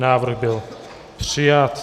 Návrh byl přijat.